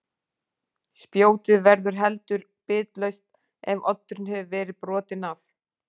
Spjótið verður heldur bitlaust ef oddurinn hefur verið brotinn af.